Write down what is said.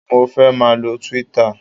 Mo fẹ́ máà lo Twitter